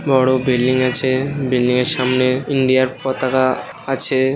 বড়ো বিল্ডিং আছে বিল্ডিং -এর সামনে ইন্ডিয়া - র পতাকা আছে ।